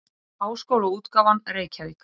Háskólaútgáfan Reykjavík.